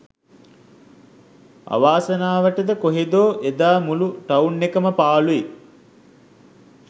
අවාසනාවටද කොහේදෝ එදා මුළු ටවුන් එකම පාළුයි.